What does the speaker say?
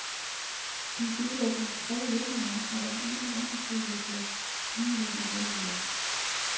De deler de tre lønninger og den ene understøttelse ligeligt imellem sig.